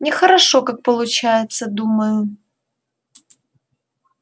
нехорошо как получается думаю